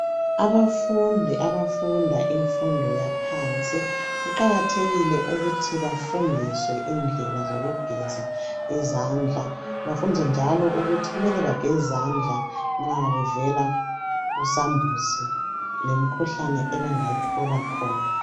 Abafundi abafunda imfundo yaphansi kuqakathekile ukuthi bafundiswe indlela zokugeza izandla bafundiswe njalo ukuthi kumele bageze izandla nxa bevela kusambuzi lemikhuhlane abangayithola khona .